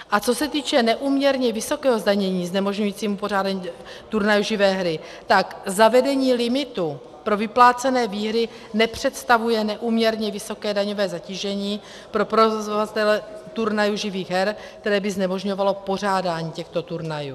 A co se týče neúměrně vysokého zdanění znemožňujícího pořádání turnajů živé hry, tak zavedení limitu pro vyplácené výhry nepředstavuje neúměrně vysoké daňové zatížení pro provozovatele turnajů živých her, které by znemožňovalo pořádání těchto turnajů.